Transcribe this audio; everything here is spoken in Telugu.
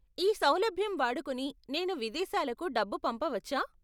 ఈ సౌలభ్యం వాడుకొని నేను విదేశాలకు డబ్బు పంపవచ్చా?